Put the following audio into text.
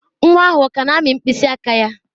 Nwa ahụ ọ ka na-amị mkpịsị aka ya?